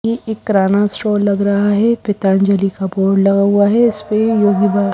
ये एक किराना स्टोर लग रहा है पतंजलि का बोर्ड लगा हुआ है उसपे योगी बाबा--